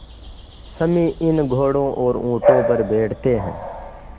सम्मी इन घोड़ों और ऊँटों पर बैठते हैं